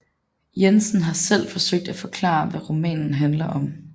Jensen har selv forsøgt at forklare hvad romanen handler om